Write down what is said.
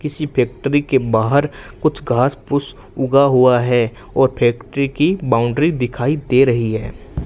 किसी फैक्टरी के बाहर कुछ घास फूस उगा है और फैक्टरी की बाउंड्री दिखाई दे रही है।